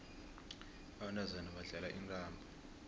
abantazana badlala intambo